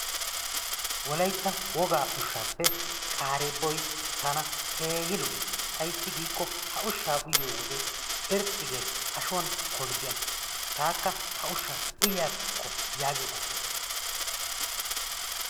Wolaytta wogaa ushshaappe qaareebboy tana keehi lo'ees. Ayssi giikko ha ushshaa uyiyo wode irxxi geesi ashuwan kolzziyan. Taakka ha ushshaa uyiyakko yaagiyo qofay de'ees.